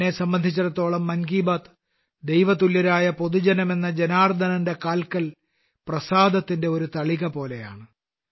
എന്നെ സംബന്ധിച്ചിടത്തോളം മൻ കി ബാത്ത് ദൈവതുല്യരായ പൊതുജനം എന്ന ജനാർദനന്റെ കാൽക്കൽ പ്രസാദത്തിന്റെ ഒരു തളിക പോലെയാണ്